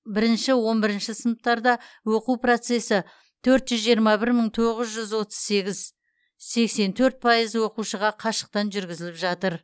бірінші он бірінші сыныптарда оқу процесі төрт жүз жиырма бір мың тоғыз жүз отыз сегіз сексен төрт пайыз оқушыға қашықтан жүргізіліп жатыр